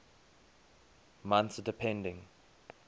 months depending